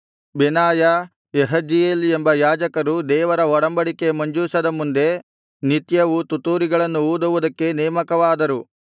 ಬೆನಾಯ Jahaziel ಎಂಬ ಯಾಜಕರು ದೇವರ ಒಡಂಬಡಿಕೆ ಮಂಜೂಷದ ಮುಂದೆ ನಿತ್ಯವೂ ತುತ್ತೂರಿಗಳನ್ನು ಊದುವುದಕ್ಕೆ ನೇಮಕವಾದರು